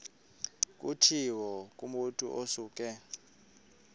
kutshiwo kumotu osuke